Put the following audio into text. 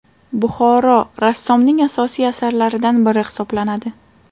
Buxoro” rassomning asosiy asarlaridan biri hisoblanadi.